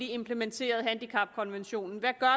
implementeret handicapkonventionen